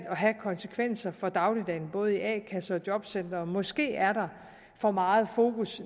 have konsekvenser for dagligdagen både i a kasser og jobcentre måske er der for meget fokus